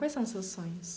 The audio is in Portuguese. Quais são os seus sonhos?